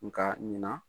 Nka ɲina